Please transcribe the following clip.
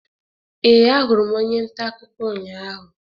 Ee, ahụrụ m onye nta akụkọ ụnyahụ.